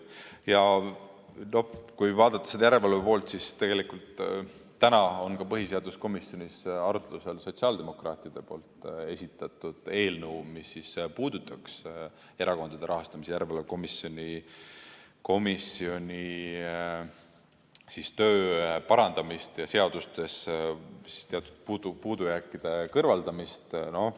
Ja kui vaadata seda järelevalve poolt, siis tegelikult täna on ka põhiseaduskomisjonis arutlusel sotsiaaldemokraatide esitatud eelnõu, mis puudutab Erakondade Rahastamise Järelevalve Komisjoni töö parandamist ja seadustes teatud puudujääkide kõrvaldamist.